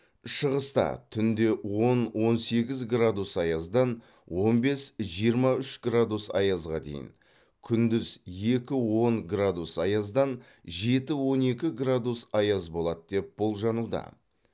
шығыста түнде он он сегіз градус аяздан он бес жиырма үш градус аязға дейін күндіз екі он градус аяздан жеті он екі градус аяз болады деп болжануда